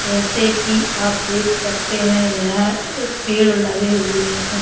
जैसे कि आप देख सकते हैं यह एक पेड़ लगे हुए हैं।